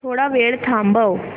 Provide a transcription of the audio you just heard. थोडा वेळ थांबव